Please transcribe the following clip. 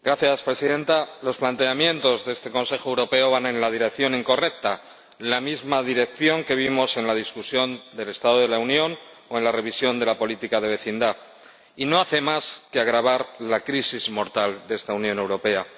Señora Presidenta, los planteamientos de este Consejo Europeo van en la dirección incorrecta, la misma dirección que vimos en el debate sobre el estado de la Unión o en la revisión de la política europea de vecindad, y que no hace más que agravar la crisis mortal de esta Unión Europea.